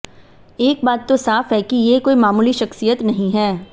एक बात तो साफ है कि ये कोई मामूली शख्सियत नहीं हैं